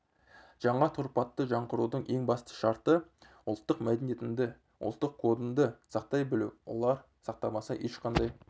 жаңа тұрпатты жаңғырудың ең басты шарты ұлттық мәдениетіңді ұлттық кодыңды сақтай білу олар сақталмаса ешқандай